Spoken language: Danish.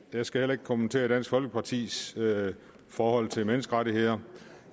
jeg skal heller ikke kommentere dansk folkepartis forhold til menneskerettigheder